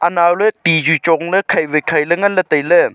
anaw ley ti chu chong wai chong ley khai wai khai ngan ley tai ley.